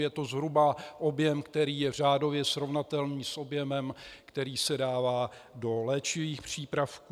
Je to zhruba objem, který je řádově srovnatelný s objemem, který se dává do léčivých přípravků.